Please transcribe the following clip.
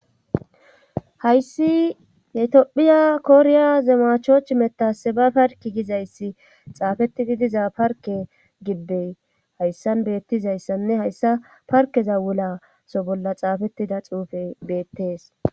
hayssi yetiophiya koriya zemachoch metase ba parki gizayssi xaafetididiza parke gibbey hayssan beettizayssanne hayssa parkezawulaso bolla xaafettida xuufe beettees